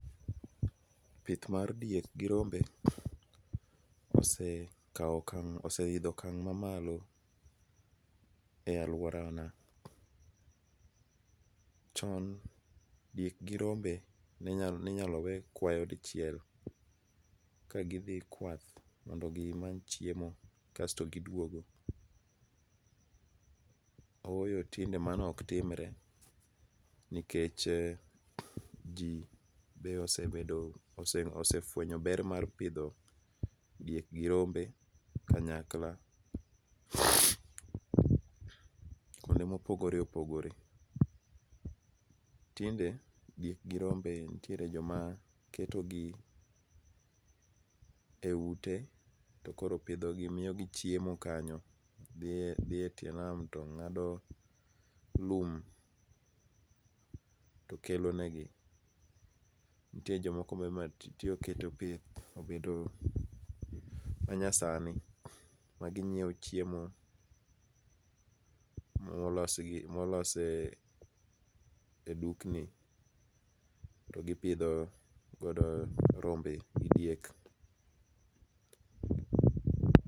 Pith mar diek gi rombe osekawo okang' oseidho okang' mamalo ei alworana. Chon, diek gi rombe ninyalo we kwayo dichiel ka gidhi kwath mondo gimany chiemo kasto giduogo. Ooyo, tinde mano ok timre, nikech ji be osefwenyo ber mar pidho diek gi rombe kanyakla kwonde mopogore opogore. Tinde, diek gi rombe nitie joma ketogi e ute to koro pidho gi ,miyogi chiemo kanyo. Dhi e tie nam to ng'ado lum to kelonegi. Nitie jomoko be matinde oketo pith obedo manyasani maginyiewo chiemo molos e dukni to gipidho godo rombe gi diek.